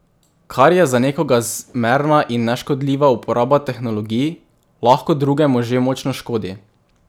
Kar je za nekoga zmerna in neškodljiva uporaba tehnologij, lahko drugemu že močno škodi.